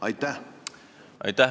Aitäh!